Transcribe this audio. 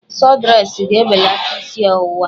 Sọdresị ga-ebelata isi ọwụwa